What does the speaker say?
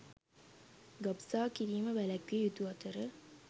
ගබ්සා කිරීම වැළැක්විය යුතු අතර